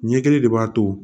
Ɲɛ kelen de b'a to